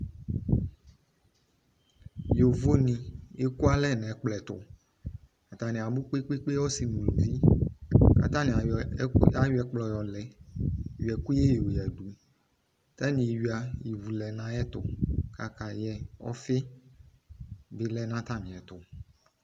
Yivo ne ekualɛ no ɛkplɔtoAtane abo kpekpe, ɔsw no uluvi ko atane ayɔ ɛku, ka yɔ ɛkplɔ yɔ lɛ11 yɔ ɛkuyɛ yɔ yadu ko atane ewia ivu lɛ no ayeto kayɛ Ɔfi be lɛ no atame ɛto